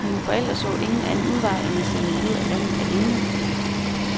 Mine forældre så ingen anden udvej end at sende mig ud af landet alene.